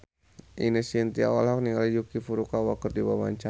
Ine Shintya olohok ningali Yuki Furukawa keur diwawancara